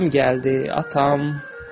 Atam gəldi.